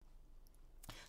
TV 2